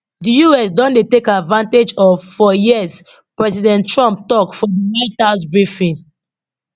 di us don dey take advantage of for years president trump tok for di white house briefing